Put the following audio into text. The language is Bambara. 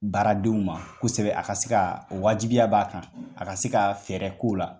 Baaradenw ma kosɛbɛ , a ka se ka wajibiya b'a kan , a ka se ka fɛɛrɛ k'o la.